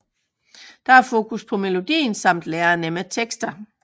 Der er fokus på melodien samt lærenemme tekster